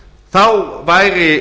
stjórnun seðlabankans væri